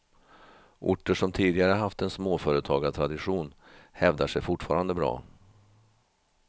Orter som tidigare haft en småföretagartradition hävdar sig fortfarande bra.